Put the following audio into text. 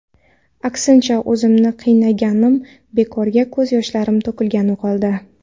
Aksincha o‘zimni qiynaganim, bekorga ko‘z yoshlarim to‘kilgani qoldi.